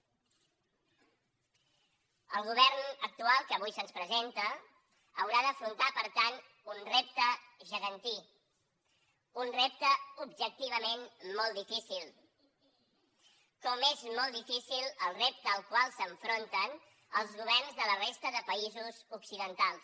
el govern actual que avui se’ns presenta haurà d’afrontar per tant un repte gegantí un repte objectivament molt difícil com és molt difícil el repte al qual s’enfronten els governs de la resta de països occidentals